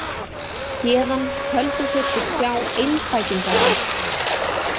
Héðan töldu þeir sig sjá einfætingaland.